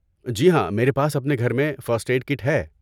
جی ہاں، میرے پاس اپنے گھر میں فرسٹ ایڈ کٹ ہے۔